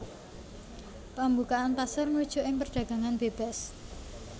Pambukaan pasar ngrujuk ing perdagangan bébas